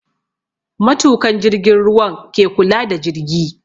Matukan jirgin ruwan ke kula da jirgi